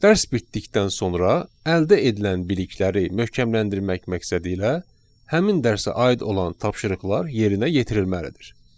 Dərs bitdikdən sonra əldə edilən bilikləri möhkəmləndirmək məqsədilə həmin dərsə aid olan tapşırıqlar yerinə yetirilməlidir.